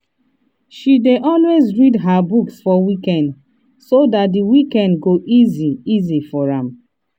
she dey always read her books for weekend so dat d weekdays go easy easy for am